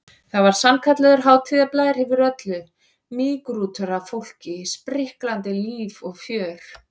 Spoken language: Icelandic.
Það var sannkallaður hátíðarblær yfir öllu, mýgrútur af fólki, spriklandi líf og fjör.